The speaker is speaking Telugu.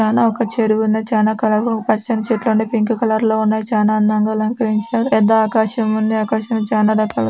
ఒక చెరు.వు ఉన్నది చానా కలర్ లో పచ్చని చెట్లు ఉన్నాయి పింక్ కలర్ లో పింక్ కలర్ లో ఉన్నాయి. చాలా అందంగా అలంకరించారు పెద్ద ఆకాశమున్నది. ఆకాశం చానా రకాలుగా --